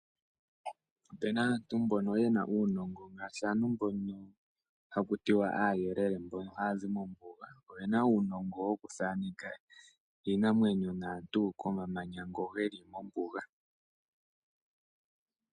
Opena aantu mbono ye na uunongo ngaashi aantu mbono ha kutiwa aayelele mbono ha ya zi mombuga. Oyena uunongo woku thaneka iinamwenyo naantu komamanya ngono ge li mombuga.